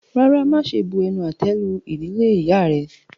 Rárá, máṣe bu-ẹnu-àtẹ́-lu ìdílé ìyá rẹ.